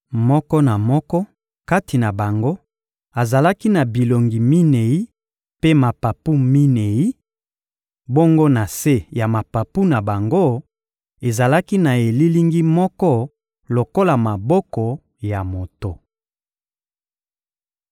Moko na moko kati na bango azalaki na bilongi minei mpe mapapu minei; bongo na se ya mapapu na bango, ezalaki na elilingi moko lokola maboko ya moto.